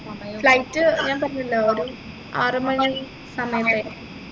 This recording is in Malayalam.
flight ഞാൻ പറഞ്ഞില്ലേ ഒരു ആറുമണി സമയത്തായിരിക്കും